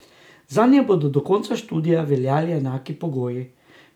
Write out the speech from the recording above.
Zanje bodo do konca študija veljali enaki pogoji.